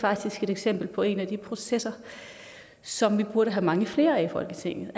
eksempel på en af de processer som vi burde have mange flere af i folketinget